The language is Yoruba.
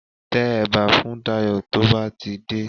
Tẹ ẹ̀bà fún Dayọ̀ tó bá ti dé